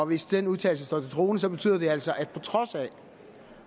hvis den udtalelse står til troende betyder det altså at på trods af